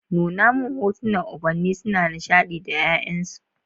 Nuna min hotunan ubanni suna nishadi da ’ya’yansu.